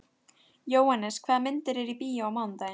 Jóhannes, hvaða myndir eru í bíó á mánudaginn?